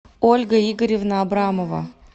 ольга игоревна абрамова